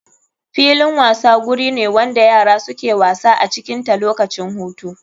Filin wasa guri wanda yara suke wasa acikin ta lokacin hutu.